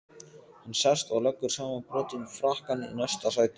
Hann sest og leggur samanbrotinn frakkann í næsta sæti.